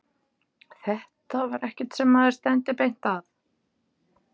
Þetta var ekkert sem maður stefndi að beint.